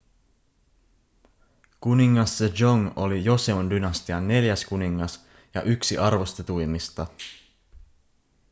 kuningas sejong oli joseon-dynastian neljäs kuningas ja yksi arvostetuimmista